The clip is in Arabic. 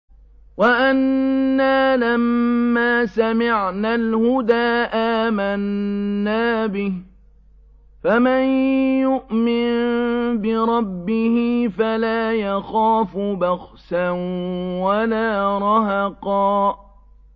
وَأَنَّا لَمَّا سَمِعْنَا الْهُدَىٰ آمَنَّا بِهِ ۖ فَمَن يُؤْمِن بِرَبِّهِ فَلَا يَخَافُ بَخْسًا وَلَا رَهَقًا